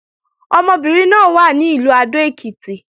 Ọmọbìnrin náà wà ní Ìlú Adó-Èkìtì